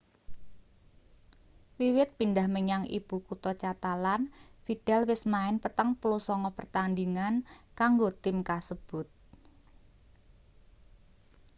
wiwit pindhah menyang ibu kutha catalan vidal wis main 49 pertandhingan kanggo tim kasebut